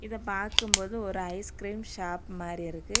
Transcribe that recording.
இத பாக்கும்போது ஒரு ஐஸ் கிரீம் ஷாப் மாரி இருக்கு.